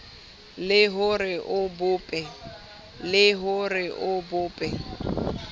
le ho re o bope